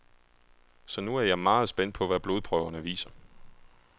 Så nu er jeg meget spændt på, hvad blodprøverne viser.